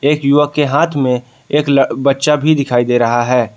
एक युवक के हाथ में एक बच्चा भी दिखाई दे रहा है।